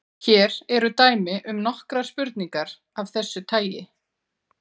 Hér eru dæmi um nokkrar spurningar af þessu tagi: